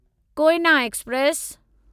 Koyna express